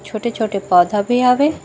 छोटे-छोटे पौधा भी हवे।